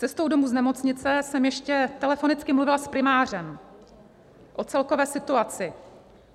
Cestou domů z nemocnice jsem ještě telefonicky mluvila s primářem o celkové situaci.